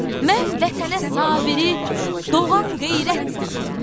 Mən Vətənə Sabiri doğan qeyrət deyirəm.